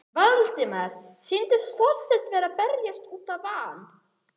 Valdimari sýndist Þorsteinn vera að belgjast út af van